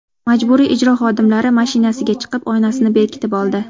Majburiy ijro xodimlari mashinasiga chiqib, oynasini berkitib oldi.